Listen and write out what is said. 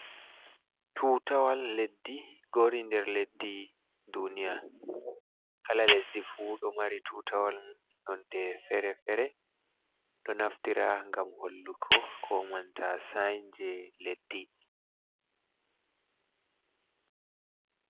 Tutawal leddi gori nder leddi duniya. Kala lesdi fu ɗo mari tutawal nonde fere-fere ɗo naftira gam hollugo ko nanta syain je leddi.